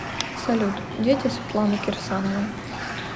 салют дети светланы кирсановой